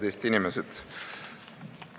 Head Eesti inimesed!